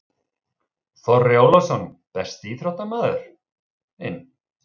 Þorri Ólafsson Besti íþróttafréttamaðurinn?